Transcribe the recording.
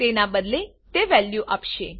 તેના બદલે તે વેલ્યુ આપશે